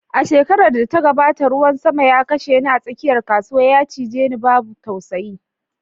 A shekarar da ta gabata, ruwan sama ya kashe ni a tsakiyar kasuwa, ya cije ni babu tausayi